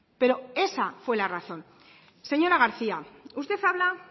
pero esa fue la razón señora garcía usted habla